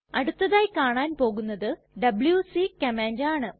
അടുത്തതായി കാണാൻ പോകുന്നത് ഡബ്ല്യൂസി കമാൻഡ് ആണ്